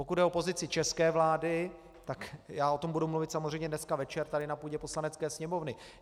Pokud jde o pozici české vlády, tak o tom budu mluvit samozřejmě dneska večer tady na půdě Poslanecké sněmovny.